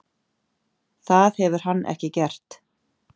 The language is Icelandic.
Það hefur hann ekki gert.